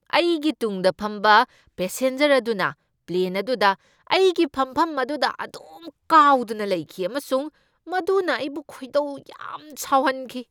ꯑꯩꯒꯤ ꯇꯨꯡꯗ ꯐꯝꯕ ꯄꯦꯁꯦꯟꯖꯔ ꯑꯗꯨꯅ ꯄ꯭ꯂꯦꯟ ꯑꯗꯨꯗ ꯑꯩꯒꯤ ꯐꯝꯐꯝ ꯑꯗꯨꯗ ꯑꯗꯨꯝ ꯀꯥꯎꯗꯨꯅ ꯂꯩꯈꯤ ꯑꯃꯁꯨꯡ ꯃꯗꯨꯅ ꯑꯩꯕꯨ ꯈꯣꯏꯗꯧ ꯌꯥꯝ ꯁꯥꯎꯍꯟꯈꯤ꯫